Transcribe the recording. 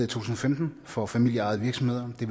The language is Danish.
tusind og femten for familieejede virksomheder det